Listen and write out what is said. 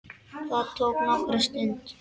Það tók nokkra stund.